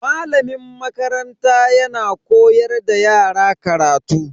Malamin makaranta yana koyar da yara karatu.